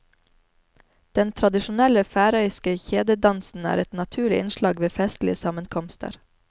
Den tradisjonelle færøyske kjededansen er et naturlig innslag ved festlige sammenkomster.